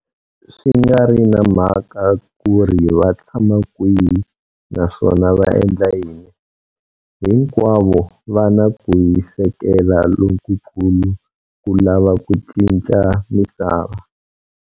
Swi nga ri na mhaka ku ri vatshama kwihi naswona va endla yini, hinkwavo va na ku hisekela lokukulu ku lava ku cinca misava.